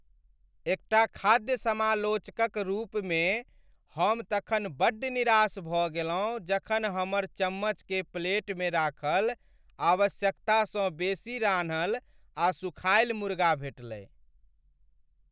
एकटा खाद्य समालोचक क रूपमे हम तखन बड्ड निराश भ गेलहुँ जखन हमर चम्मच के प्लेटमे राखल आवश्यकतासँ बेसी रान्हल आ सुखायल मुर्गा भेटलै ।